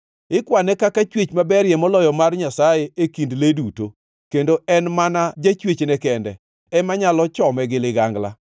Ikwane kaka chwech maberie moloyo mar Nyasaye e kind le duto, kendo en mana Jachwechne kende ema nyalo chome gi ligangla.